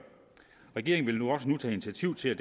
regeringen vil nu også tage initiativ til at